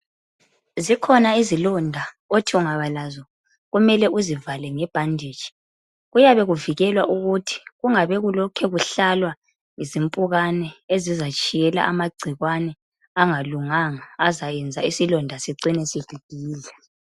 Zikhona izilonda othi ungaba lazo kumele uzivale ngebhanditshi. Kuyabe kuvikelwa ukuthi kungabe kulokhe kuhlalwa zimpukane ezizatshiyela amagcikwane angalunganga azayenza isilonda sicine sibhibhidla.